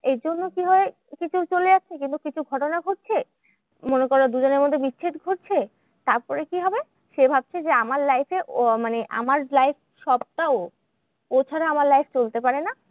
এরজন্য কি হয়? কিছু চলে যাচ্ছে কিন্তু কিছু ঘটনা ঘটছে। মনে করো দুজনের মধ্যে বিচ্ছেদ ঘটছে। তারপরে কি হবে? সে ভাবছে যে আমার life এ আহ মানে আমার life সবটা ও। ও ছাড়া আমার life চলতে পারে না।